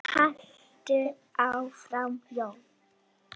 Haltu áfram Jón!